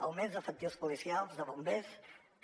augments d’efectius policials de bombers també